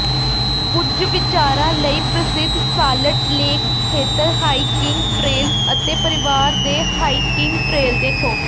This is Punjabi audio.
ਕੁਝ ਵਿਚਾਰਾਂ ਲਈ ਪ੍ਰਸਿੱਧ ਸਾਲਟ ਲੇਕ ਖੇਤਰ ਹਾਈਕਿੰਗ ਟਰੇਲਜ਼ ਅਤੇ ਪਰਿਵਾਰ ਦੇ ਹਾਈਕਿੰਗ ਟਰੇਲ ਦੇਖੋ